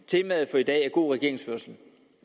temaet for i dag er god regeringsførelse